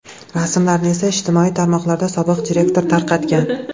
Rasmlarni esa ijtimoiy tarmoqlarda sobiq direktor tarqatgan.